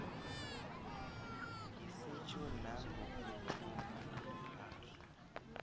ngesetjho nangokuthumba ipahla